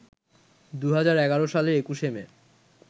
২০১১ সালের ২১শে মে